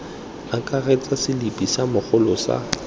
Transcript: akaretsa selipi sa mogolo sa